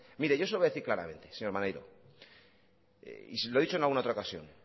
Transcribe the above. mire yo se lo voy a decir claramente señor maneiro y se lo he dicho en alguna otra ocasión